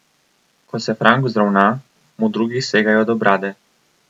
Ko se Frank vzravna, mu drugi segajo do brade.